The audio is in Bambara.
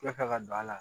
Yafa ka don a la